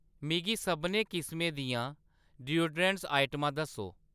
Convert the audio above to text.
मिगी सभनें किसमें दियां डयूडरैंड्स आइटमां दस्सो।